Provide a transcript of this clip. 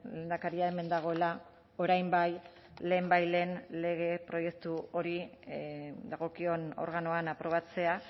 lehendakaria hemen dagoela orain bai lehenbailehen lege proiektu hori dagokion organoan aprobatzea